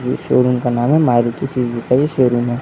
ये शोरूम का नाम है। मारुती सुजुकी शोरूम है।